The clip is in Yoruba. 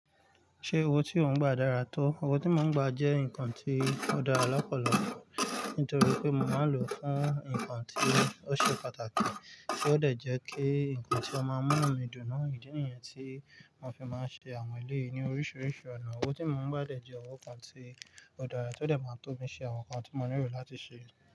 Ṣé owó tí ò ń gba dára tó? Owó tí mò ń gba jẹ́ ǹkan tí ó dára lọ́pọ̀lọpọ̀ nítorí pé mò máa ń lò ó fún ǹkan tí ó ṣe pàtàkì, kí ó de jẹ́ kí ǹkan tí ó máa ń mú nu mi dùn náà, ìdí nìyẹn tí mò fi máa ń ṣe àwọn eleyìí ní oríṣiríṣi ọ̀nà. Owó tí mò ń gba dè jẹ́ owó kan tí ó dára, tó dè máa tó mi ṣe àwọn nǹkan tí mo nílò láti ṣe.